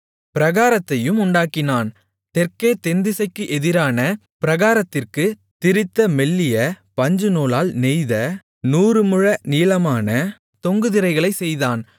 பிராகாரத்தையும் உண்டாக்கினான் தெற்கே தென்திசைக்கு எதிரான பிராகாரத்திற்கு திரித்த மெல்லிய பஞ்சுநூலால் நெய்த நூறு முழ நீளமான தொங்கு திரைகளைச் செய்தான்